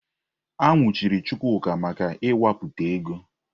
A nwụchiri Chukwuka maka ịwapụta ego.